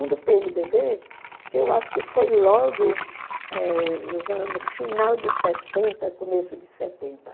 Um do pê eme dê bê, que eu acho que foi logo eh nos no final dos sessenta, começo dos setenta